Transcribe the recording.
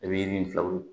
I bɛ nin filaw